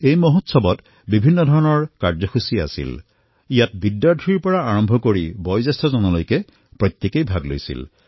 এই মহোৎসৱৰ সময়ত বিভিন্ন প্ৰকাৰৰ কাৰ্যক্ৰমণিকাত ছাত্ৰৰ পৰা আৰম্ভ কৰি জ্যেষ্ঠজনেও অংশগ্ৰহণ কৰিলে